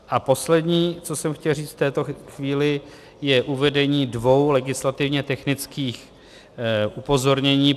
A poslední, co jsem chtěl říct v této chvíli, je uvedení dvou legislativně technických upozornění.